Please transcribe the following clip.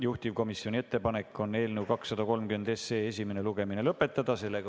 Juhtivkomisjoni ettepanek on eelnõu 230 esimene lugemine lõpetada.